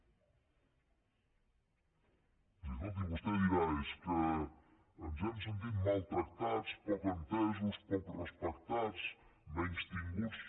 i escolti vostè deurà dir és que ens hem sentit maltractats poc entesos poc respectats menystinguts